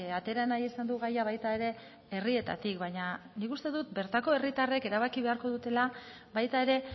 atera nahi izan du gaia baita ere herrietatik baina nik uste dut bertako herritarrek erabaki beharko dutela baita ere